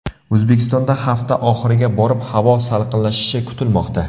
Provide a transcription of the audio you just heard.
O‘zbekistonda hafta oxiriga borib havo salqinlashishi kutilmoqda.